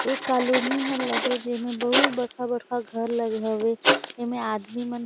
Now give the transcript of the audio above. ए colony ह लगे जेमे बहुत बड़खा-बड़खा घर लगे हवे ए में आदमी मन--